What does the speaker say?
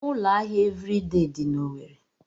Ụlọ ahịa Eviridee dị n'Owerre.